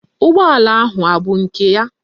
Ụgbọala ahụ abụ nke ya?